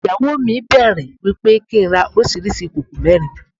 Ìyàwó mi bẹ̀rẹ̀ wípé kí n rà oríṣiríṣi ìkòkò mẹ́rin.